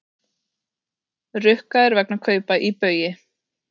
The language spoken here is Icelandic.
Rukkaðir vegna kaupa í Baugi